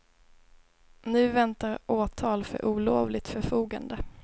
Nu väntar åtal för olovligt förfogande.